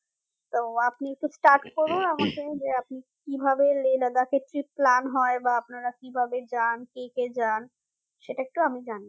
তো আপনি একটু start করুন আমাকে যে আপনি কিভাবে Lehladakh এ trip plan হয় বা আপনারা কিভাবে যান কে কে যান সেটা একটু আমি জানবো